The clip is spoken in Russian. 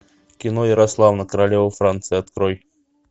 кино ярославна королева франции открой